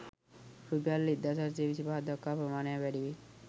රුපියල් 1825 දක්වා ප්‍රමාණයක් වැඩිවේ.